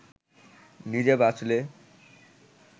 নিজে বাঁচলে